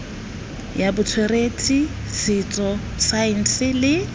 ya botsweretshi setso saense le